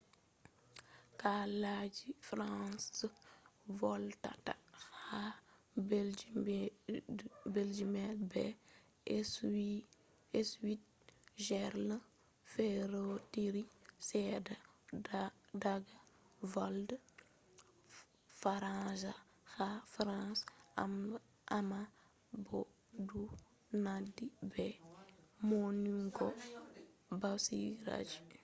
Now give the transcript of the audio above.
kalaji french je volwata ha belgium be switzerland ferotiri sedda daga volde faransa ha france amma bo du nandhi be maunugo basiraji